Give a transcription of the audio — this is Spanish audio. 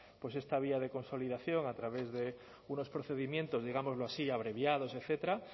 esta vía de consolidación a través de unos procedimientos digámoslo así abreviados etcétera